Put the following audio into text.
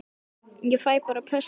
Ég fæ bara pössun fyrir það.